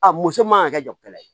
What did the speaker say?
A muso man ka kɛ jotɛ ye